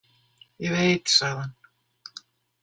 Ég veit, sagði hann.